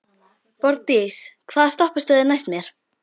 Borgdís, hvaða stoppistöð er næst mér?